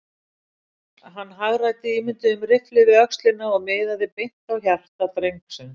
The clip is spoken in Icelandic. Hann hagræddi ímynduðum riffli við öxlina og miðaði beint á hjarta drengsins.